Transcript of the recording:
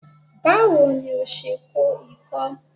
Báwo ni o se kó ikó?